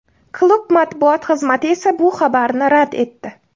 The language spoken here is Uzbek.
Klub matbuot xizmati esa bu xabarni rad etdi.